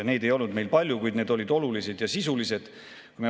Neid ei olnud meil palju, kuid need olid olulised ja sisulised.